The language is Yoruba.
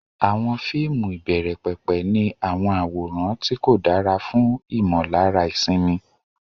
Àwọn fíìmù ìbẹ̀rẹ̀pẹ̀pẹ̀ ní àwọn àwòrán tí kò dára fún ìmọ̀lára ìsinmi.